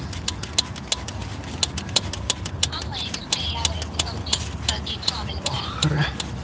ஆமா எங்களுக்கு எல்லா varieties of cakes உம் available ஆ இருக்கு